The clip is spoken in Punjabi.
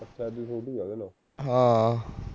ਹਾਂ